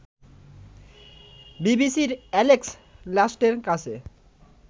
বিবিসির এ্যালেক্স লাস্টের কাছে